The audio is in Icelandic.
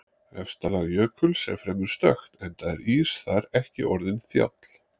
Efsta lag jökuls er fremur stökkt enda er ís þar ekki orðinn þjáll.